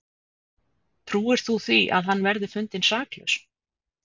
Trúir þú því að hann verði fundinn saklaus?